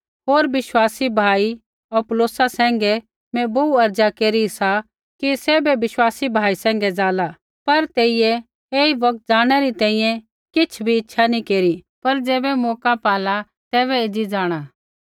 होर विश्वासी भाई अपुल्लोसा सैंघै मैं बोहू अर्ज़ा केरी सा कि सैभे विश्वासी भाई सैंघै जाला पर तेइयै ऐई बौगत ज़ाणनै री किछ़ भी इच्छा नी केरी पर ज़ैबै मौका पाला तैबै एज़ी जाँणा